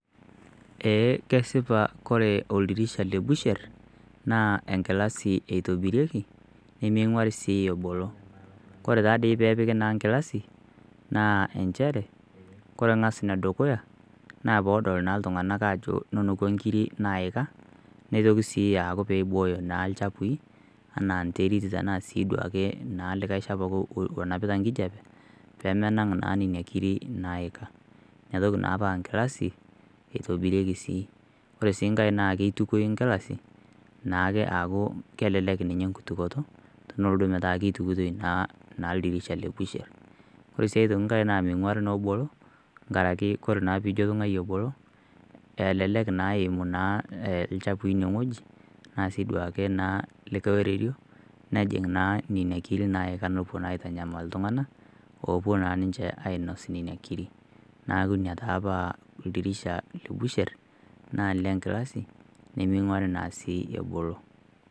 Eeh kesipa kore oldirisha lebusher naa enkilasi etobirieki nemeing'uari sii ebolo ore naa pepiki enkilasi naaa enchere kore nga'as enedukuya naa peedol iltung'anak aajo neneku inkirk naaika peibooyo naa ilchafui enaa enterit tenaa likae duake shafu oyaita enkijiape nemenang naa nena kirik naaika neeku ore naa paa nkilasi eitobirieki sii ore sii nkae naa keitukoyu nkilasi naake aaku kelelek naake nkitukoto tenolotu metaa keitukitoi naa ildirisha le busher ore sii aitoki nkae meiung'uari naa ebolo nkaraki naa peino tung'ai ebolo elelek naa eimuu ilchafui ine wueji naasiiduake naa likae oiterio nejing na nena kirik naika nepuo naa aitanyamal iltung'anak opuo naa ninche ainos nena kirik neeku ina taa paa oldirisha lebusher naa olenkilasi nemeing'uari naa sii ebolo